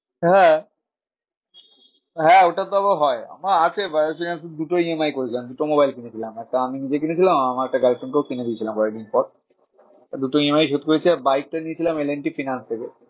হ্যাঁ, হ্যাঁ ওটাতেও হয় আমার আছে বাজাজ ফিন্যান্সের দুটো EMI করেছিলাম। দুটো মোবাইল কিনেছিলাম। একটা আমি নিজে কিনেছিলাম আর আমার একটা girlfriend কেও কিনে দিয়েছিলাম কয়েক দিন পর। দুটো EMI শোধ করেছি আর bike টা নিয়েছিলাম এল এন্ড টি ফিনান্স থেকে।